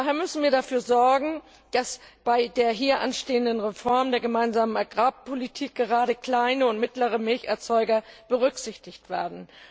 Daher müssen wir dafür sorgen, dass bei der hier anstehenden Reform der Gemeinsamen Agrarpolitik gerade kleine und mittlere Milcherzeuger berücksichtigt werden.